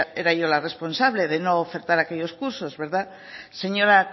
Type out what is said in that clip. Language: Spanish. era yo la responsable de no ofertar aquello cursos verdad señora